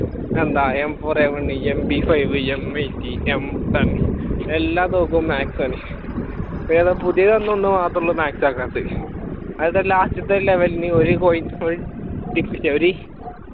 എന്താ MfourEMPfiveMeighteemson എല്ലാദിവസവും max ആണ് വേറെ പുതിയതൊന്ന് മാത്രേ മാക്സ് ആകാത്തത് ലാസ്റ്റത്തെ ലെവെലിന് ഒരു coin